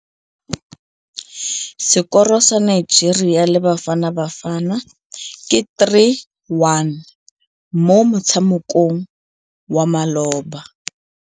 Sekôrô sa Nigeria le Bafanabafana ke 3-1 mo motshamekong wa malôba.